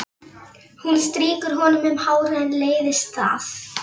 Hún strýkur honum um hárið en leiðist það.